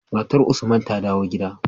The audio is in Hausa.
Matar usman ta dawo gida